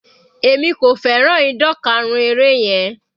Èmi kò fẹ́ràn ìdan karun eré yẹn.